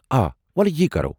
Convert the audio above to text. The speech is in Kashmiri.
آ، وۄلہٕ یی کرو۔